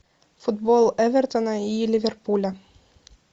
футбол эвертона и ливерпуля